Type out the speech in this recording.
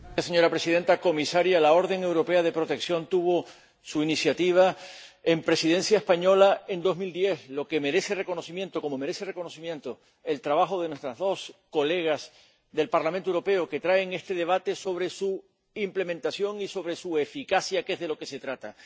Señora presidenta, comisaria, la orden europea de protección fue una iniciativa de la Presidencia española, en 2010, lo que merece reconocimiento, como merece reconocimiento el trabajo de nuestras dos colegas del Parlamento Europeo que traen este debate sobre su implementación y sobre su eficacia, que es de lo que se trata.